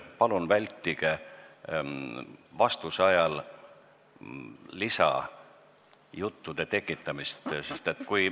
Palun vältige vastuse ajal lisajuttude tekitamist.